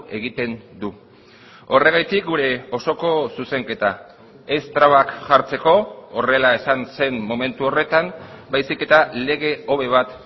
egiten du horregatik gure osoko zuzenketa ez trabak jartzeko horrela esan zen momentu horretan baizik eta lege hobe bat